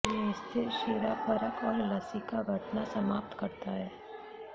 यह स्थिर शिरापरक और लसीका घटना समाप्त करता है